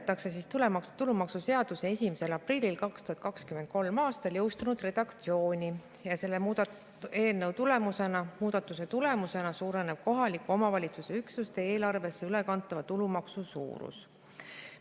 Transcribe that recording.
Selle eelnõuga muudetakse tulumaksuseaduse 1. aprillil 2023. aastal jõustunud redaktsiooni ja selle muudatuse tulemusena suureneb kohaliku omavalitsuse üksuste eelarvesse ülekantava tulumaksu suurus.